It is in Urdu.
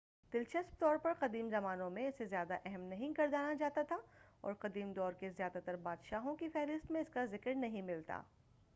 دلچسپ طور پر قدیم زمانوں میں اسے زیادہ اہم نہیں گردانا جاتا تھا اور قدیم دور کے زیادہ تر بادشاہوں کی فہرست میں اس کا ذکر نہیں ملتا